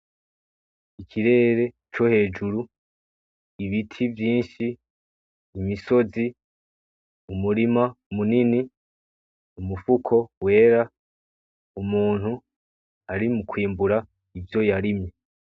Ikirere co hejuru, ibiti vyinshi, imisozi, umurima munini, umufuko wera , umuntu ari mukwimbura ivyo yarimye.